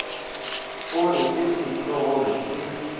o re ke setlogolo se